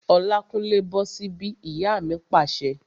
Olákúnlé, bọ́ sí bí! Ìyá mi pàṣẹ